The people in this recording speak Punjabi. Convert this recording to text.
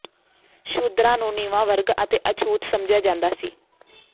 ਸ਼ੂਦਰਾਂ ਨੂੰ ਨੀਵਾਂ ਵਰਗ ਅਤੇ ਅਛੂਤ ਸਮਝਿਆ ਜਾਂਦਾ ਸੀ